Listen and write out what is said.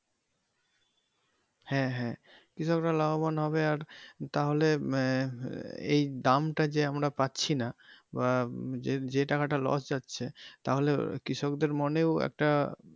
হ্যা হ্যা কৃষক্রা লাভবান হবে আর তাহলে আহ এই দামটা যে আমরা পাচ্ছি না বা যে যে টাকা টা loss যাচ্ছে তাহলে কৃষকদের মনেও একটা।